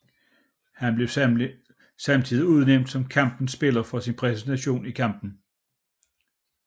Han blev samtidig udnævnt som kampens spiller for sin præstation i kampen